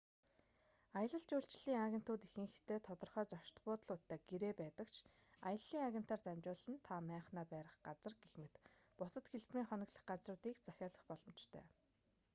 аялал жуулчлалын агентууд ихэнхдээ тодорхой зочид буудлуудтай гэрээтэй байдаг ч аяллын агентаар дамжуулан та майхнаа барих газар гэх мэт бусад хэлбэрийн хоноглох газруудыг захиалах боломжтой